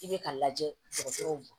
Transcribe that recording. I bɛ ka lajɛ dɔgɔtɔrɔw